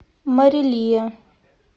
марилия